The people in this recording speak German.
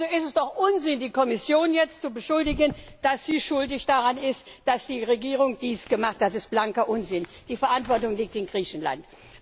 Also ist es doch unsinnig, die Kommission jetzt zu beschuldigen, dass sie schuld daran ist, dass die Regierung dies gemacht hat. Das ist blanker Unsinn! Die Verantwortung liegt in Griechenland.